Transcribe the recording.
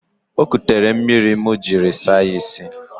O ekutere mmiri m jiri saa ya isi.